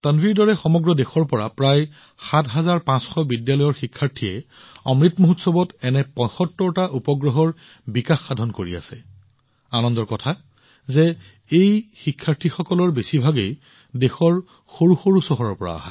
তানভিৰ দৰে দেশৰ প্ৰায় ৭৫০ জন বিদ্যালয়ৰ শিক্ষাৰ্থীয়ে অমৃত মহোৎসৱত এনে ৭৫ টা উপগ্ৰহৰ ওপৰত কাম কৰি আছে আৰু লগতে আনন্দৰ বিষয় যে এই শিক্ষাৰ্থীসকলৰ বেছিভাগেই দেশৰ সৰু চহৰৰ